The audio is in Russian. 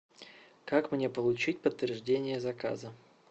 как мне получить подтверждение заказа